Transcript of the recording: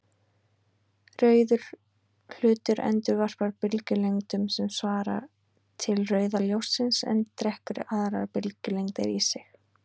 Rauður hlutur endurvarpar bylgjulengdum sem svara til rauða ljóssins en drekkur aðrar bylgjulengdir í sig.